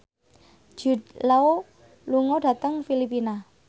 Jude Law lunga dhateng Filipina